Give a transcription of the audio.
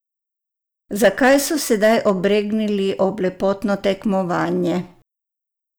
Zakaj so se sedaj obregnili ob lepotno tekmovanje?